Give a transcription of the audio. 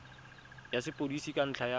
ya sepodisi ka ntlha ya